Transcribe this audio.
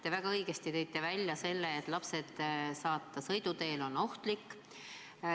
Te väga õigesti tõite välja, et lapsi sõiduteele saata on ohtlik.